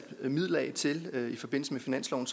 midler af til i finansloven